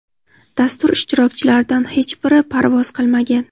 dastur ishtirokchilaridan hech biri parvoz qilmagan.